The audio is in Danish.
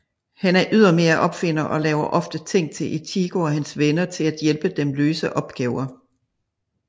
Han er ydermere opfinder og laver ofte ting til Ichigo og hans venner til at hjælpe dem løse opgaver